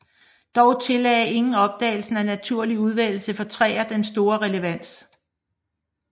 Dog tillagde ingen opdagelsen af naturlig udvælgelse for træer den store relevans